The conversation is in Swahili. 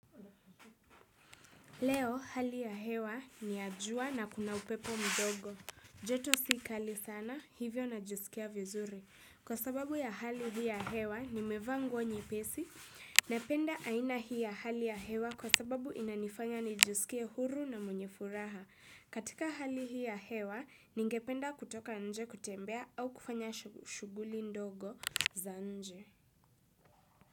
Leo, hali ya hewa ni ya jua na kuna upepo mdogo. Joto si kali sana, hivyo najisikia vizuri. Kwa sababu ya hali hii ya hewa, nimevaa nguo nyepesi. Napenda aina hii ya hali ya hewa kwa sababu inanifanya nijisikie huru na mwenye furaha. Katika hali hii hewa, ningependa kutoka nje kutembea au kufanya shuguli ndogo za nje.